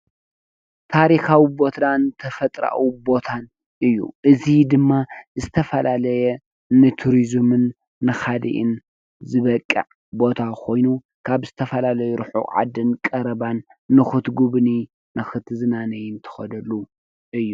ታሪካዊ ቦታን ተፈጥሮአዊ ቦታን እዪ እዚ ድማ ዝተፈላለዩ ንቱሪዝምን ንካሊእን ዝበቅዕ ቦታ ኮይኑ ካብ ዝተፈላለዪ ርሑቅ ዓድን ቀረባን ንክትጉብንይን ንክትዝናነይን ትከደሉ እዪ ።